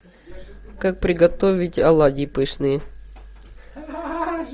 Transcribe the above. как приготовить оладьи пышные